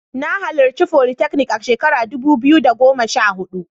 Na halarci folytechnic a shekara ta dubu biyu da goma sha huɗu.